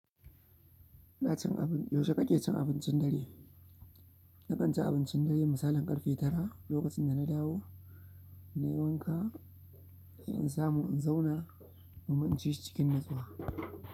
Ina cin abin, yaushe kake cin abincin dare? Nakan ci abincin dare misalin ƙarfe tara. Lokacin da na dawo, na yi wanka, sai in samu in zauna kuma in ci shi cikin nitsuwa.